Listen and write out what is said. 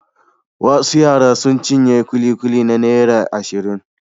Wasu yara sun cinye ƙuliƙuli na naira ashirin.